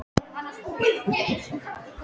Hvenær í lífinu var þín gleðistund?